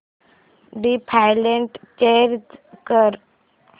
default change कर